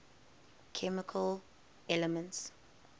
chemical elements